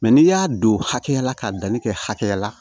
n'i y'a don hakɛ la ka danni kɛ hakɛya la